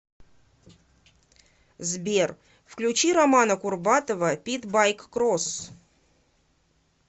сбер включи романа курбатова питбайк кросс